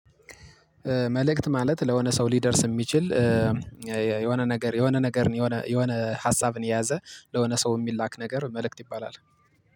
መልእክት ማለት ለሆነ ሰው ሊደርስ የሚችል የሆነ ነገር የሆነ ነገር የሆነ የሆነ ሀሳብን የያዘ ለሆነ ሰው የሚላክ ነገር መልእክት ይባላል